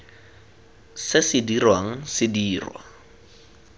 se se dirwang se dirwa